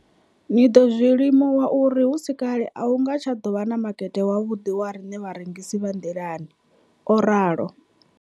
Ndo ḓo zwi limuwa uri hu si kale a hu nga tsha ḓo vha na makete wavhuḓi wa riṋe vharengisi vha nḓilani, o ralo.